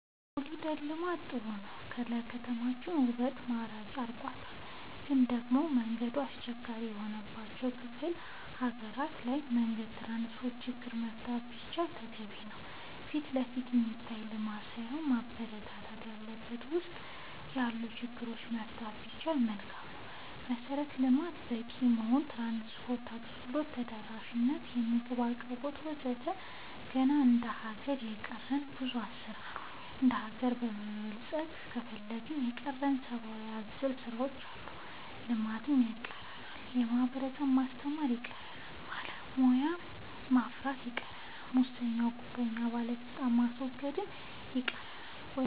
ኮሊደር ልማት ጥሩ ነው ለከተማችን ውበት ማራኪ አርጎታል ግን ደሞ መንገድ አስቸጋሪ የሆነባቸው ክፍለ ሀገራት ላይ መንገድ ትራንስፖርት ችግር መፈታት ቢችል ተገቢ ነው ፊትለፊት የሚታይ ልማት ሳይሆን መበረታታት ያለበት ውስጥ ለውስጥ ያሉ ችግሮች መፍታት ቢቻል መልካም ነው መሰረተ ልማት በቂ መሆን ትራንስፓርት አገልግሎት ተደራሽ ነት የምግብ አቅርቦት ወዘተ ገና እንደ ሀገር የቀረን ብዙ ስራ ዎች አሉ እንደሀገር መበልፀግ ከፈለግን የቀረን ሰባአዊ አዘል ስራዎች አሉ ልማት ይቀረናል የህብረተሰብ ማስተማር ይቀረናል በቂ ባለሙያ ማፍራት ይቀረናል ሙሰኛ ጉቦኛ ባለስልጣናት ማስወገድ ይቀረናል ወዘተ